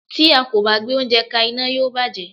Tí a kò bá gbé oúnjẹ ka iná, yóò bàjé.